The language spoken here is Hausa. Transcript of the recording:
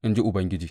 in ji Ubangiji.